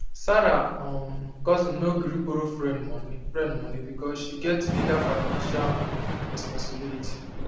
sarah um cousin no gree borrow friend money friend money because she get bigger financial um responsibility